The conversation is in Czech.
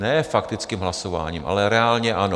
Ne faktickým hlasováním, ale reálně ano.